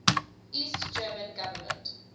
east german government